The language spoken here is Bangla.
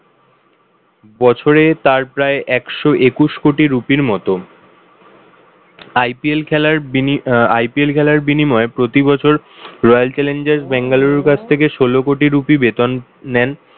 বছরে তার প্রায় একশো একুশ কোটি রুপির মতন। IPL খেলার বিনি~ আহ IPL খেলার বিনিময়ে প্রতি বছর royal challengers ব্যাঙ্গালুরু কাছ থেকে ষোল কোটি রুপি বেতন নেন